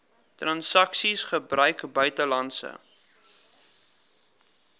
transaksies gebruik buitelandse